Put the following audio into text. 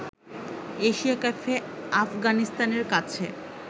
Asia কাপে আফগানিস্তানের কাছে